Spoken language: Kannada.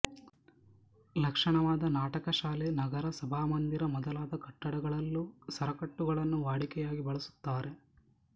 ಲಕ್ಷಣವಾದ ನಾಟಕಶಾಲೆ ನಗರ ಸಭಾಮಂದಿರ ಮೊದಲಾದ ಕಟ್ಟಡಗಳಲ್ಲೂ ಸರಕಟ್ಟುಗಳನ್ನು ವಾಡಿಕೆಯಾಗಿ ಬಳಸುತ್ತಾರೆ